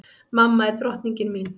Mamma er drottningin mín.